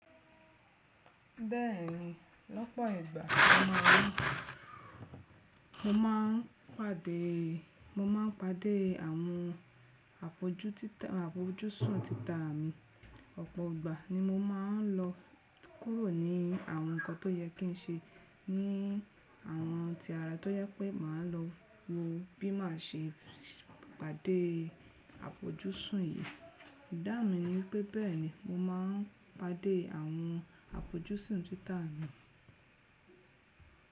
Bẹ́ẹ̀ni, lọ́pọ̀ ìgbà mo máa ń pàdé, mo máa ń pàdé àwọn àfojúsùn títà mi, ọ̀pọ̀ ìgbà ni mo máa ń lọ kúrò ní àwọn nǹkan tó yẹ kí n ṣe ní àwọn tí ara tó yẹ pé màá lọ wo bí màá ṣe pàdé àfojúsùn yìí. Ìdáun mi ni pé bẹ́ẹ̀ni mo máa ń pàdé àwọn àfojúsùn títà mi.